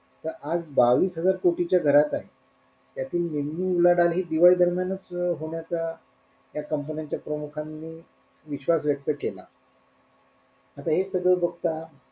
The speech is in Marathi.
तर आज बावीस हजार कोटीच्या घराते त्यातली निम्मी उलाढाल हि दिवाळी दरम्यानच होण्याचा या कंपन्यांच्या प्रमुखांनी विश्वास व्यक्त केला आता हे सगळं बघता,